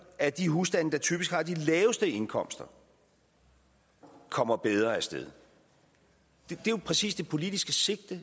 at de husstande der typisk har de laveste indkomster kommer bedre af sted det er jo præcis det politiske sigte